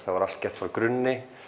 var allt gert frá grunni